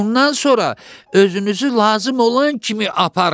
Bundan sonra özünüzü lazım olan kimi aparın.